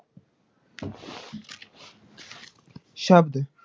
ਸ਼ਬਦ,